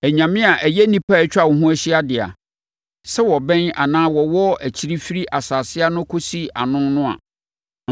anyame a ɛyɛ nnipa a atwa wo ho ahyia dea, sɛ wɔbɛn anaa wɔwɔ akyiri firi asase ano kɔsi ano no a,